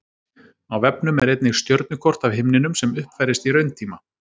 Á vefnum er einnig stjörnukort af himninum sem uppfærist í rauntíma.